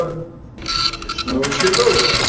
Hins vegar ferðast þær allar í sömu átt kringum sólina.